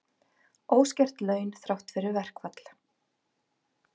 Óskert laun þrátt fyrir verkfall